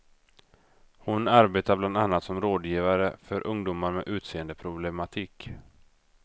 Hon arbetar bland annat som rådgivare för ungdomar med utseendeproblematik.